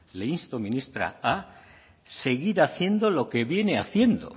le insto ministra a seguir haciendo lo que viene haciendo